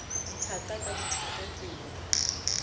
dithaka ka dithaka ke ya